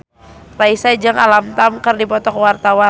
Raisa jeung Alam Tam keur dipoto ku wartawan